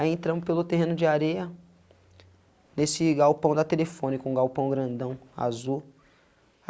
Aí entramos pelo terreno de areia, desse galpão da telefônica, um galpão grandão, azul.